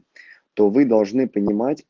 то вы должны понимать